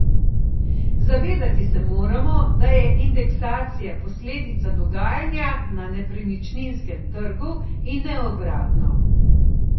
Zavedati se moramo, da je indeksacija posledica dogajanja na nepremičninskem trgu in ne obratno.